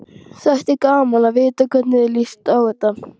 Þætti gaman að vita hvernig þér líst á þetta?